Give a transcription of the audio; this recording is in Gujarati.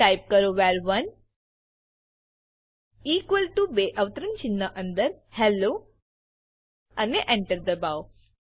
ટાઇપ કરો વર1 ઇક્વલ ટીઓ બે અવતરણચિહ્નો અંદર હેલ્લો અને Enter દબાઓ